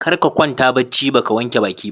Karka kwanta bacci baka wanke baki ba.